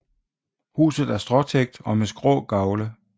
Huset er stråtægt og med skrå gavle